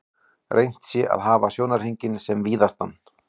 Reynt sé að hafa sjónhringinn sem víðastan.